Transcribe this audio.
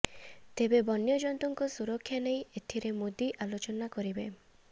ତେବେ ବନ୍ୟଯନ୍ତୁଙ୍କ ସୁରକ୍ଷା ନେଇ ଏଥିରେ ମୋଦି ଆଲୋଚନା କରିବେ